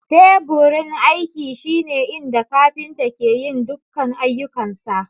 Teburin aiki shine inda kafinta ke yin dukkan ayyukansa.